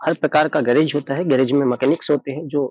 हर प्रकार का गैरेज होता है। गैरेज में मैकेनिक्स होते हैं जो --